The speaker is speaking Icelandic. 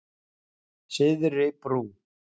Syðri Brú